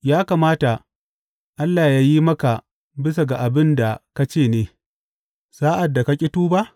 Ya kamata Allah yă yi maka bisa ga abin da ka ce ne, sa’ad da ka ƙi ka tuba?